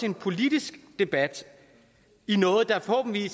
en politisk debat i noget der forhåbentlig